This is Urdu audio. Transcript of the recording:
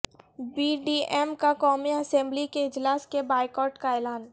پی ڈی ایم کا قومی اسمبلی کے اجلاس کے بائیکاٹ کا اعلان